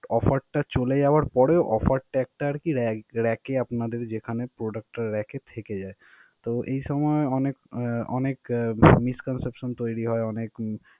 offer টা চলে যাওয়ার পরেও offer tag টা আর কি rag~ rack এ আপনাদের যেখানে product টা product টা rack এ থেকে যায়. তো এই সময় অনেক আহ অনেক আহ misconception তৈরি হয়. অনেক।